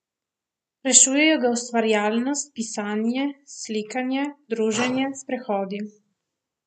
Rešujejo ga ustvarjalnost, pisanje, slikanje, druženje, sprehodi.